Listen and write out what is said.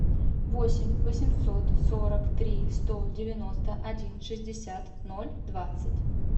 восемь восемьсот сорок три сто девяносто один шестьдесят ноль двадцать